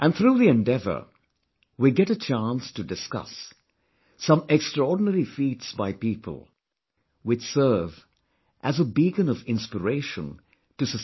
And through the endeavour, we get a chance to discuss some extraordinary feats by people, which serve as a beacon of inspiration to society